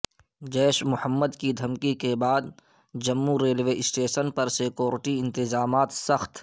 جیش محمد کی دھمکی کے بعد جموں ریلوے سٹیشن پر سکیورٹی انتظامات سخت